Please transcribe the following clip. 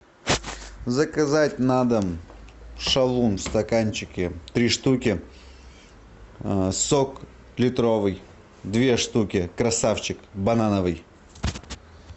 заказать на дом шалун в стаканчике три штуки сок литровый две штуки красавчик банановый